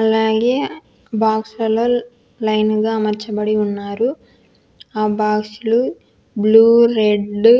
అలాగే బాక్స్ లలో లైన్ గా అమర్చబడి ఉన్నారు ఆ బాక్స్ లు బ్లూ రెడ్డు